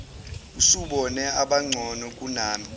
usubone abangcono kunami